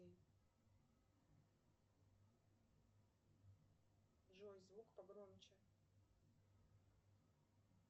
джой звук погромче